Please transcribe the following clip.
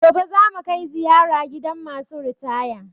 Gobe za mu kai ziyara gidan ma su ritaya